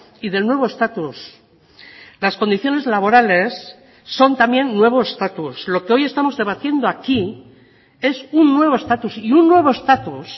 y del nuevo estatus las condiciones laborales son también nuevo estatus lo que hoy estamos debatiendo aquí es un nuevo estatus y un nuevo estatus